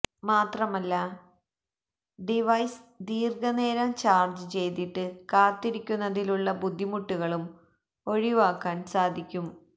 മാത്രമല്ല ഡിവൈസ് ദീർഘനേരം ചാർജ് ചെയ്തിട്ട് കാത്തിരിക്കുന്നതിലുള്ള ബുദ്ധിമുട്ടുകളും ഒഴിവാക്കാൻ സാധിക്കും